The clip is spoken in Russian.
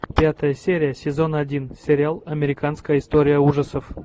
пятая серия сезон один сериал американская история ужасов